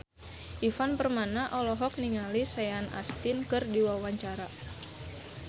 Ivan Permana olohok ningali Sean Astin keur diwawancara